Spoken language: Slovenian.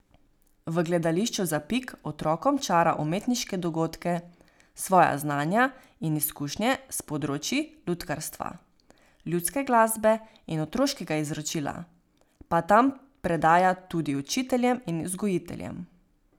V gledališču Zapik otrokom čara umetniške dogodke, svoja znanja in izkušnje s področij lutkarstva, ljudske glasbe in otroškega izročila pa tam predaja tudi učiteljem in vzgojiteljem.